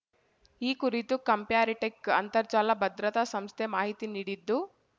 ಈ ಕುರಿತು ಕಂಪ್ಯಾರಿಟೆಕ್ ಅಂತರ್ಜಾಲ ಭದ್ರತಾಸಂಸ್ಥೆ ಮಾಹಿತಿ ನೀಡಿದ್ದು